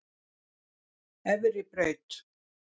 Efribraut